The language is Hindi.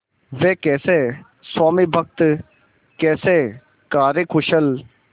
वे कैसे स्वामिभक्त कैसे कार्यकुशल